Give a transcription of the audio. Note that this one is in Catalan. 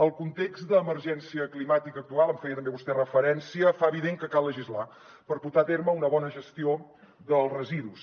el context d’emergència climàtica actual en feia també vostè referència fa evident que cal legislar per portar a terme una bona gestió dels residus